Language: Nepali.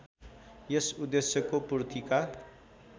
यस उद्देश्यको पूर्तिका